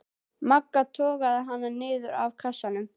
Magga togaði hana niður af kassanum.